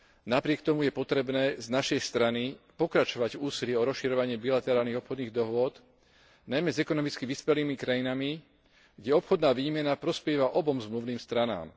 Napriek tomu je potrebné z našej strany pokračovať v úsilí o rozširovanie bilaterálnych obchodných dohôd, najmä s ekonomicky vyspelými krajinami, kde obchodná výmena prospieva obom zmluvným stranám.